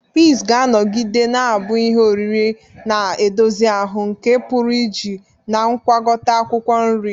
Peas ga-anọgide na-abụ ihe oriri na-edozi ahụ nke a pụrụ iji na ngwakota akwukwo nri.